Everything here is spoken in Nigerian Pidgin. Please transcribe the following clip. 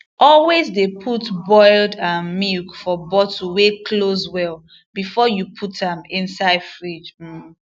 always de put boiled um milk for bottle wey close well before you put am inside fridge um